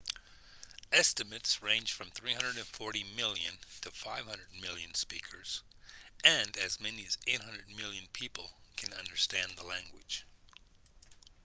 estimates range from 340 million to 500 million speakers and as many as 800 million people can understand the language